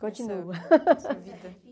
Continuo. essa vida